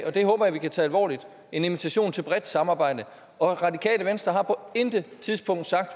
og det håber jeg vi kan tage alvorligt en invitation til et bredt samarbejde radikale venstre har på intet tidspunkt sagt